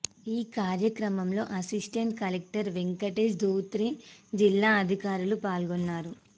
ఈ కార్యక్రమంలో assistant collector Venkatesh Dhotre జిల్లా అధికారులు పాల్గొన్నారు